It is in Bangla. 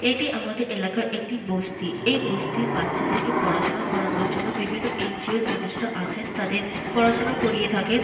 এটি আমাদের এলাকার একটি বস্তি। এই বস্তির বাচ্চাদেরকে পড়াশুনা করানোর জন্য বিভিন্ন এন.জি.ও -র মানুষরা আসেন তাদেরকে পড়াশুনা করিয়ে থাকেন।